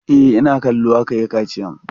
E, ina kallo aka yi kaciyan.